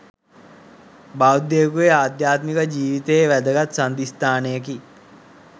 බෞද්ධයකුගේ අධ්‍යාත්මික ජීවිතයේ වැදගත් සන්ධිස්ථානයකි,